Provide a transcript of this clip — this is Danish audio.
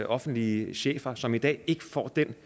offentlige chefer som i dag ikke får det